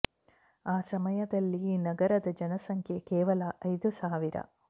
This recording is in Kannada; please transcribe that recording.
ಆ ಸಮಯದಲ್ಲಿ ಈ ನಗರದ ಜನಸಂಖ್ಯೆ ಕೇವಲ ಐದು ಸಾವಿರ